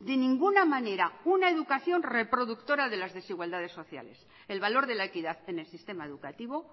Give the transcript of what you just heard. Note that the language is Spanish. de ninguna manera una educación reproductora de las desigualdades sociales el valor de la equidad en el sistema educativo